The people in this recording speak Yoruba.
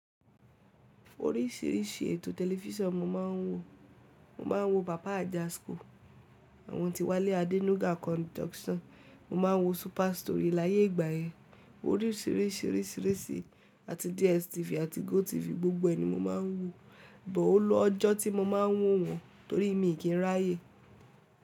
Oríṣìíríṣìí ètò tẹlifísàn mo máa ń wò. Mo máa ń wo paba Ajasco, àwọn Tiwale Adenuga Conduction, mo máa ń wo Super Story láyé ìgbà yẹn. Oríṣìíríṣìí, risii oriṣiriṣi àti DSTV àti GOTV gbogbo ẹ ni mo máa ń wò. Bọ̀ ó lọ́jọ́ tí mo máa ń wò wọ́n torí mi kin ráyè.